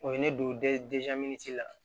O ye ne don la